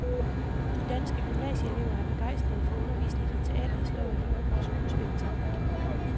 De danske gymnasieelever er begejstrede for undervisning i teaterhistorie og skuespilteknik.